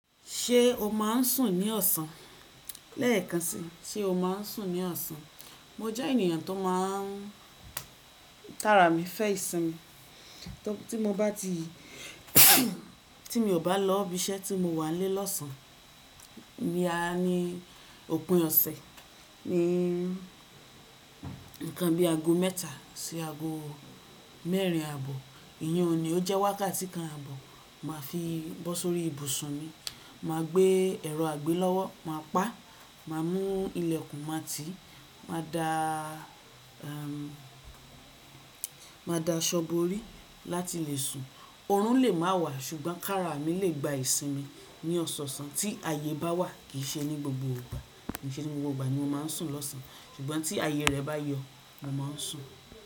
Ṣé o máa ń sùn ní ọ̀sán? Lẹ́ẹ̀kan si se o máa ń sùn ní ọ̀sán. Mo jẹ́ ènìyàn tó máa ń kára mi fẹ́ ìsinmi. Tí mo bá ti tí mi ò bá lọ́ ibi iṣẹ́ tí mo wà n lé lọ̀sán. Boya ní òpin ọ̀sẹ̀ ní nǹkan bí ago mẹ́ta sí ago mẹ́rin àbò. Iyin un ní ó jẹ́ wákàtí kan àbò máa fi bọ́ sórí ibùsùn mi. Máa gbé ẹ́rọ àgbẹ lọ́wọ́, màá pá, màá mú ilẹ̀kùn, màá ti, màá dá a, màá dá aṣọ borí láti lè sùn. Òòrùn lè máa wà ṣùgbọ́n kára mi lè gba ìsinmi ní ọ̀sọ̀ọ̀sán tí ayé bá wà kìí ṣe ní gbogbo ìgbà. Kìí ṣe ní gbogbo ìgbà ni mo máa ń sùn lọ̀sán ṣùgbọ́n tí aayé rẹ̀ bá yọ, mo máa ń sùn.